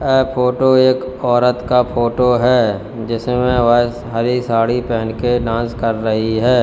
यह फोटो एक औरत का फोटो है जिसमें वे हरि साड़ी पेहन के डांस कर रही है।